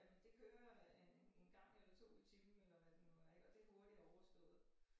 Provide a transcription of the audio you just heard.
Jamen det kører øh 1 1 gang eller 2 i timen eller hvad det nu er ik og det hurtigt overstået